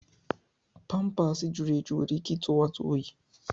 pampaasi jụrụ eju nwere ike ịtụ nwata óyi.